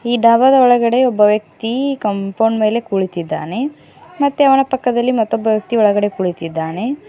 ಈ ಡಾಬಾದ ಒಳಗಡೆ ಒಬ್ಬ ವ್ಯಕ್ತಿ ಕಾಂಪೌಂಡ್ ಮೇಲೆ ಕುಳಿತಿದ್ದಾನೆ ಮತ್ತೆ ಅವನ ಪಕ್ಕದಲ್ಲಿ ಮತ್ತೊಬ್ಬ ವ್ಯಕ್ತಿ ಒಳಗಡೆ ಕೂತಿದ್ದಾನೆ.